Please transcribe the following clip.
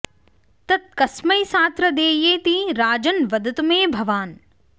तत् कस्मै सात्र देयेति राजन् वदतु मे भवान्